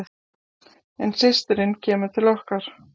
En systirin kemur til okkar.